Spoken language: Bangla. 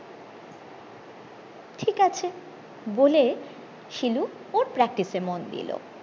বলে শিলু ওর practice এ মন দিলো